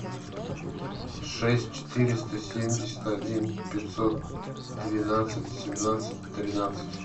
шесть четыреста семьдесят один пятьсот двенадцать семнадцать тринадцать